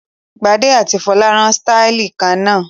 Gbadé àti Folú rán sítáálì kan náà.